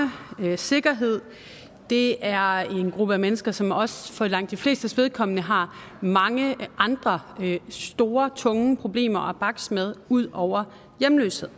sikkerhed og det er en gruppe af mennesker som også for langt de flestes vedkommende har mange andre store tunge problemer at bakse med ud over hjemløshed